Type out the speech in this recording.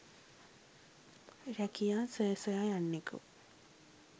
රැකියා සොය සොයා යන්නකු